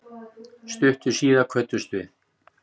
Stuttu síðar kvöddumst við.